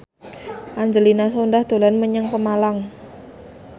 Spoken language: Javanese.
Angelina Sondakh dolan menyang Pemalang